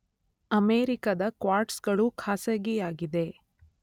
ಅಮೇರಿಕದ ಕ್ವಾರ್ಟ್ಸ್‌ಗಳು ಖಾಸಗೀಯಾಗಿದೆ